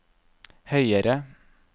høyere